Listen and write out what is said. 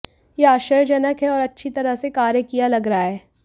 यह आश्चर्यजनक है और अच्छी तरह से कार्य किया लग रहा है